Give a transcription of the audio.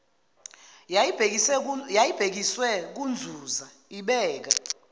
yayibhekiswe kunzuza ibeka